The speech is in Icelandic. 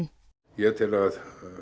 ég tel að